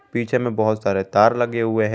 पीछे में बहुत सारे तार लगे हुए हैं।